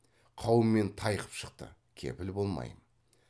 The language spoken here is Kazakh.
қаумен тайқып шықты кепіл болмаймын